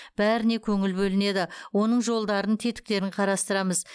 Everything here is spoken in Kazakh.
бәріне көңіл бөлінеді оның жолдарын тетіктерін қарастырамыз